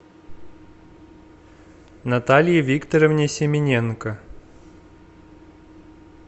наталье викторовне семененко